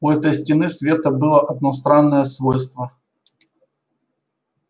у этой стены света было одно странное свойство